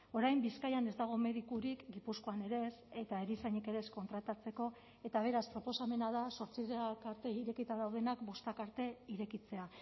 orain bizkaian ez dago medikurik gipuzkoan ere ez eta erizainik ere ez kontratatzeko eta beraz proposamena da zortziak arte irekita daudenak bostak arte irekitzea